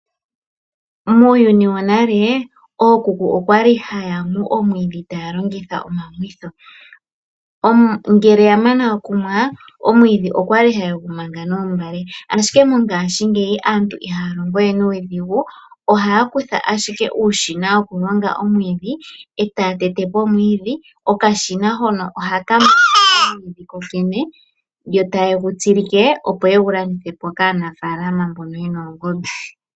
Muuyuni wonale ookuku okwali haya nu omwiidhi taya longitha omamwitho, ngele yamana okunwa, omwiidhi okwali haye gu manga noombale, ashike mongashingeyi aantu ihaya longo we nuudhigu ohaya kutha ashike uushina wokulonga omwiidhi eta ya tete po omwiidhi. Okashina hono ohaka mangako kokene, yo taye gu tsikilike opo yegu landithepo kaanafaalama mboka yena oongombe.